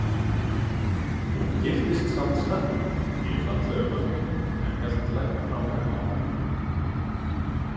Hún giftist samt snemma, mjög fallegum manni, en hélt læknanáminu áfram.